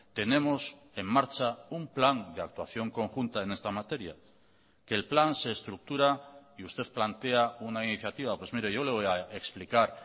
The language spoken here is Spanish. tenemos en marcha un plan de actuación conjunta en esta materia que el plan se estructura y usted plantea una iniciativa pues mire yo le voy a explicar